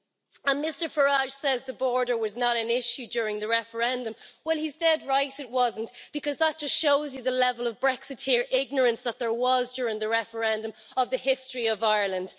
And Mr Farage says the border was not an issue during the referendum. Well he's dead right it wasn't, because that just shows you the level of Brexiteer ignorance that there was during the referendum of the history of Ireland.